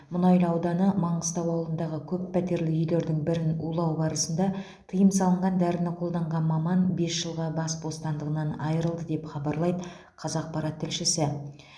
мұнайлы ауданы маңғыстау ауылындағы көппәтерлі үйлердің бірін улау барысында тыйым салынған дәріні қолданған маман бес жылға бас бостандығынан айырылды деп хабарлайды қазақпарат тілшісі